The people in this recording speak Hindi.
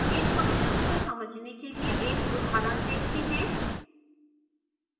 इन functions को समझने के लिए एक उदाहरण देखते हैं